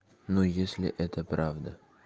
ну если это правда